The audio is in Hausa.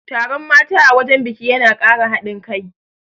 Taron mata a wajen biki yana Kara haɗin kai